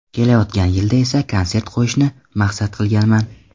Kelayotgan yilda esa konsert qo‘yishni maqsad qilganman.